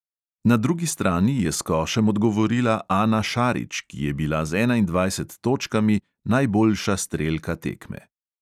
Na drugi strani je s košem odgovorila ana šarić, ki je bila z enaindvajset točkami najboljša strelka tekme.